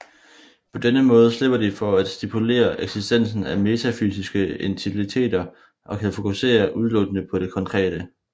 På denne måde slipper de for at stipulere eksistensen af metafysiske entiteter og kan fokusere udelukkende på det konkrete